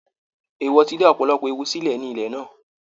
Èèwọ̀ ti dá ọ̀pọ̀lọpọ̀ ewu sílẹ̀ ní ilẹ̀ náà